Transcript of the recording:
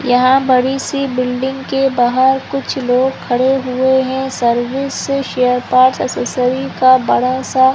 यहाँ बड़ी सी बिल्डिंग के बाहर कुछ लोग खड़े हुए है सर्विस शेयर पार्क एक्सेसरीज बड़ा-सा--